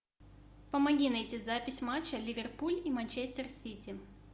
помоги найти запись матча ливерпуль и манчестер сити